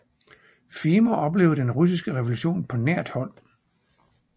Fehmer oplevede den Russiske Revolution på nært hold